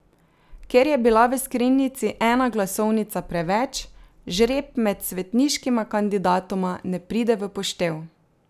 Ker je bila v skrinjici ena glasovnica preveč, žreb med svetniškima kandidatoma ne pride v poštev.